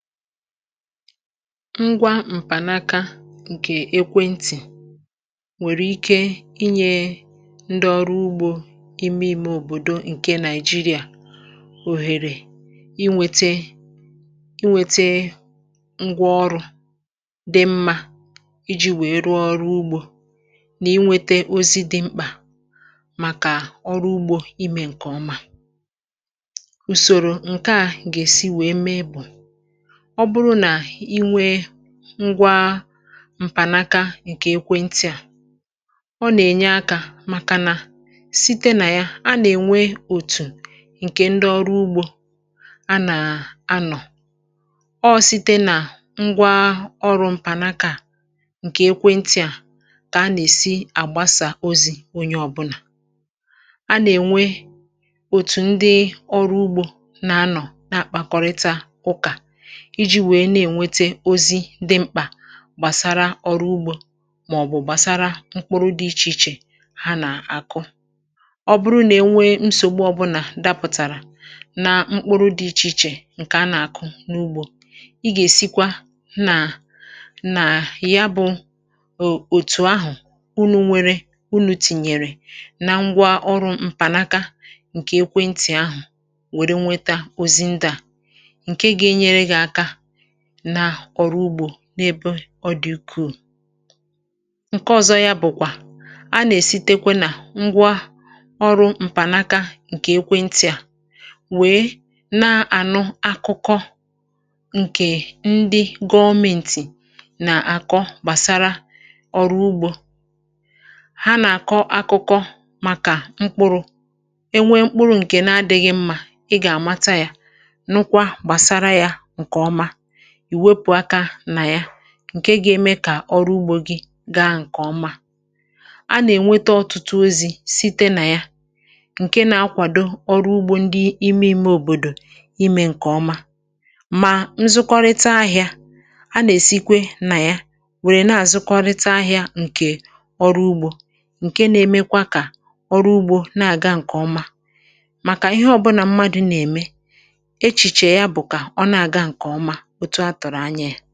Ngwa m̀pànaka ǹkè ekwentị̀ nwèrè ike inyė ndị ọrụ ugbȯ ime ime òbòdò ǹkè Nigeria òhèrè inwete inwete ngwa ọrụ̇ dị mmȧ iji̇ wèe rụọ ọrụ ugbȯ nà inwete ozi dị mkpà màkà ọrụ ugbȯ ime ǹkè ọma. Ùsòrò ǹke à gèsi wèe mee bù, ọ bụrụ nà inwee ngwa m̀pànaka ǹkè ekwe ntị à, ọ nà-ènye akȧ màkà nà, site nà ya a nà-ènwe òtù ǹkè ndị ọrụ ugbȯ a nà-ànọ̀. Ọ site nà ngwa ọrụ̇ m̀pànakaa ǹkè ekwe ntị à kà a nà-èsi àgbasà ozi̇ onye ọ̀bụlà. A nà-ènwe òtù ndị ọrụ ugbȯ nà-ànọ̀ nà-àkpàkọrịta ụkà iji wee n’enwete ozi dị̇ mkpà gbàsara ọrụ ugbȯ màọbụ̀ gbàsara mkpụrụ dị̇ ichè ichè ha nà-àkụ. Ọ bụrụ nà e nwee nsògbu ọ̇bụ̇nà dapụ̀tàrà na mkpụrụ dị̇ ichè ichè ǹkè a nà-àkụ n’ugbȯ, ị gà-èsikwa nà nà ya bụ̀ o òtù ahụ̀ unu̇ nwėrė, unù tìnyèrè na ngwa ọrụ̇ m̀pànaka ǹkè ekwentị̀ ahụ̀ wèrè nweta ozi nda, nke g’enyere gị aka na ọrugbo n’ebe ọ dị̀ ukùù. Nke ọ̀zọ yȧ bụ̀kwà, a nà-èsi tekwe nà ngwa ọrụ̇ m̀pànaka ǹkè ekwe ntị̀ à wèe nà-ànụ akụkọ ǹkè ndị gọọmentì nà-àkọ gbàsara ọrụ ugbȯ. Ha nà-àkọ akụkọ màkà mkpụrụ̇. E nwee mkpụrụ ǹkè na-adị̇ghị̇ mmȧ, ị gà-àmata yȧ, nụkwa gbasara ya nkeọma, iwepụ aka na ya ǹke ga-eme kà ọrụ ugbȯ gị gaa ǹkè ọma. A nà-ènweta ọtụtụ ozi̇ site nà ya ǹke nà-akwàdo ọrụ ugbȯ ndị ime ime òbòdò imė ǹkè ọma. Mà nzụkọrịta ahịȧ, a nà-èsikwe nà ya wèrè na-àzụkọrịta ahịȧ ǹkè ọrụ ugbȯ ǹke na-emekwa kà ọrụ ugbȯ na-àga ǹkè ọma, màkà ihe ọbụnà mmadu̇ nà-ème, echiche ya bụ ka ọ n’aga nkeọma, otu atụrụ anya ya.